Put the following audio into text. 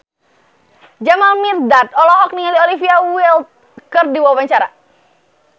Jamal Mirdad olohok ningali Olivia Wilde keur diwawancara